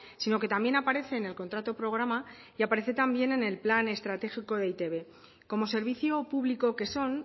sino que también aparece en el contrato programa y aparece también en el plan estratégico de eitb como servicio público que son